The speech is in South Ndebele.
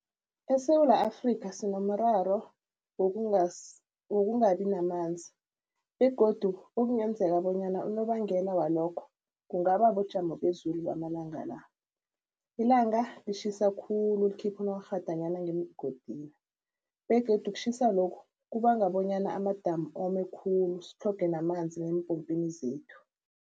ESewula Afrikha sinomraro wokungabi namanzi begodu okungenzeka bonyana unobangela walokho kungaba bujamo bezulu bamalanga la. Ilanga litjhisa khulu likhipha onokghadanyana ngemgodini begodu ukutjhisa lokhu kubanga bonyana amadamu ome khulu sitlhoge namanzi neempopini zethu.